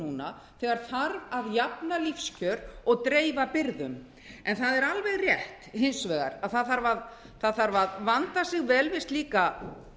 núna þegar þarf að jafna lífskjör og dreifa byrðum en það er hins vegar alveg rétt að það þarf að vanda sig vel við slíka